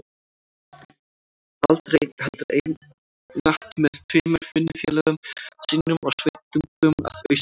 Aldrei einn, heldur einatt með tveimur vinnufélögum sínum og sveitungum að austan.